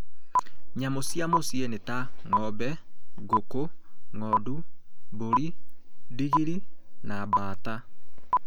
Nyamũ cia mũcĩĩ nĩ ta ng’ombe, ngũkũ, ng’ondu, mbũri, Ndigiri, na mbaata.